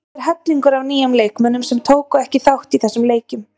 Það er hellingur af nýjum leikmönnum sem tóku ekki þátt í þessum leikjum.